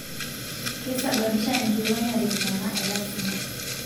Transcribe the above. Keisababisha enkikonyare kiama e lasima